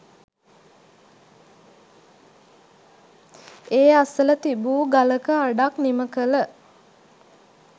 ඒ අසල තිබූ ගලක අඩක් නිමකළ